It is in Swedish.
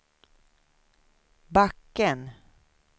backen